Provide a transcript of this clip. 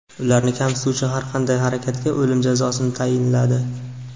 Ularni kamsituvchi har qanday harakatga o‘lim jazosini tayinladi .